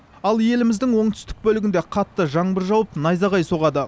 ал еліміздің оңтүстік бөлігінде қатты жаңбыр жауып найзағай соғады